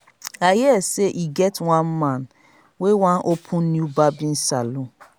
i hear say e get one man wey wan open new barbing salon